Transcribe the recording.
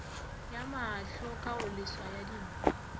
ya maahlo kagoleswa ya dinko